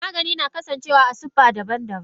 Magani na kasan cewa a sifa daban daban.